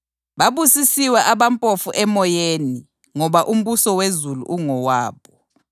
“Babusisiwe abampofu emoyeni ngoba umbuso wezulu ungowabo.